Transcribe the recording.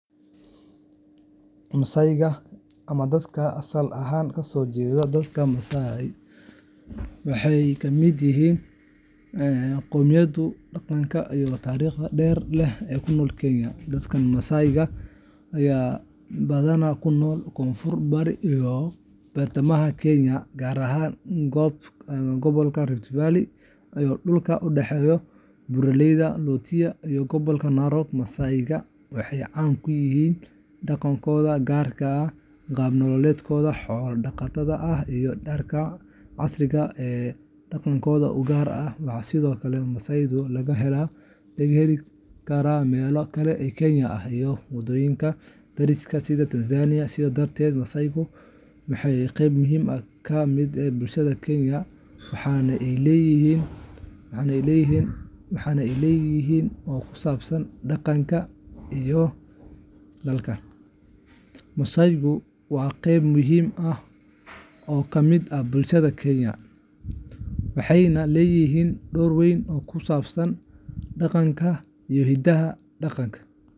Massage-ka ama dadka asal ahaan ka soo jeeda dalka Massai waxay ka mid yihiin qowmiyadaha dhaqanka iyo taariikhda dheer leh ee ku nool Kenya. Dadka Massai-ga ayaa badanaa ku nool koonfur bari iyo bartamaha Kenya, gaar ahaan gobolka Rift Valley iyo dhulka u dhexeeya Buuraleyda Loita iyo gobolka Narok. Massai-ga waxay caan ku yihiin dhaqankooda gaarka ah, qaab nololeedkooda xoolo-dhaqatada ah, iyo dharka casriga ah ee dhaqanka u gaarka ah. Waxaa sidoo kale Massai laga heli karaa meelo kale oo Kenya ah iyo wadamada dariska ah sida Tanzania. Sidaa darteed, Massai-gu waa qeyb muhiim ah oo ka mid ah bulshada Kenya, waxayna leeyihiin door weyn oo ku saabsan dhaqanka iyo hidaha dalka.